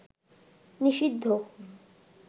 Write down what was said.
নিষিদ্ধ